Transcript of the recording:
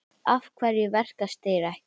Af hverju verkast þeir ekki?